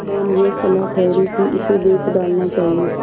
निदान यह सलाह ठहरी कि इसे बेच डालना चाहिए